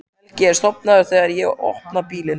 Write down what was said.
Helgi er sofnaður þegar ég opna bílinn.